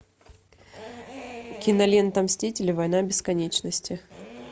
кинолента мстители война бесконечности